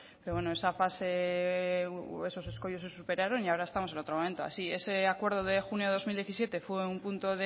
pero bueno esa fase esos escoyos se superaron y ahora estamos en otro momento así ese acuerdo de junio de dos mil diecisiete fue un punto